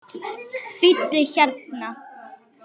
Bíddu hérna.